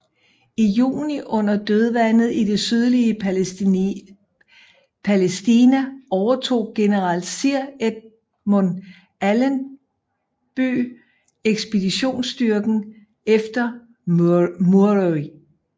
I juni under Dødvandet i det sydlige Palæstina overtog general Sir Edmund Allenby ekspeditionsstyrken efter Murray